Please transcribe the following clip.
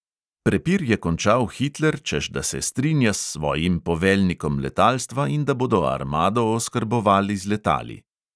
Prepir je končal hitler, češ da se strinja s svojim poveljnikom letalstva in da bodo armado oskrbovali z letali.